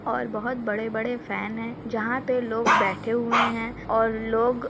और बहोत बड़े-बड़े फैन हैं। जहाँ पे लोग बैठे हुए हैं और लोग --